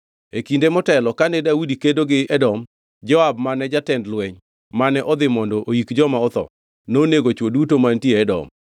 E kinde motelo kane Daudi kedo gi Edom, Joab mane jatend lweny mane odhi mondo oyik joma otho, nonego chwo duto mantie e Edom.